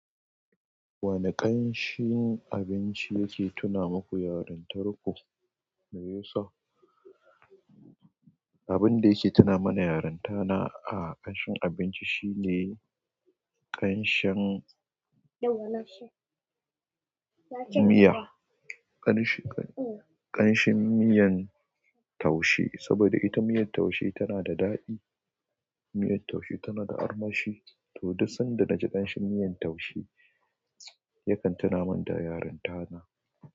Wane ƙanshin abinci yake tuna maku yarintarku? Yusuf. Abin da yake tuna mana yarinta na a ƙanshin abinci shine ƙanshin miya, ƙanshin, ƙanshin miyan taushe. Saboda ita miyan taushe tana da daɗi. Miyar taushe tana da armashi. To, duk sanda na ji ƙanshin miyan taushe yakan tuna mun da yarinta na.